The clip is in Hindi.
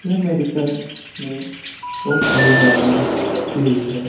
यह मेडिकल में बहुत सारी दवाइयाँ रखी हुई है।